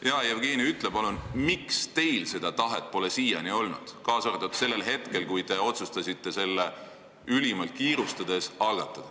Hea Jevgeni, ütle palun, miks teil seda tahet siiani olnud pole, kaasa arvatud sellel hetkel, kui te otsustasite ülimalt kiirustades selle eelnõu algatada.